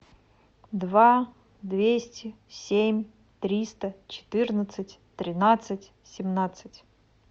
два двести семь триста четырнадцать тринадцать семнадцать